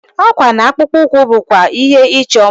Akwa na akpụkpọ ụkwụ bụkwa ihe ịchọ mma.